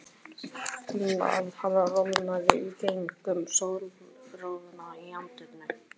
Fann að hann roðnaði í gegnum sólroðann í andlitinu.